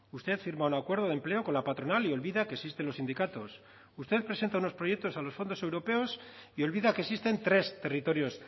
usted firma un acuerdo de empleo con la patronal y olvida que existen los sindicatos usted presenta unos proyectos a los fondos europeos y olvida que existen tres territorios